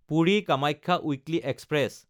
Puri-Kamakhya weekly express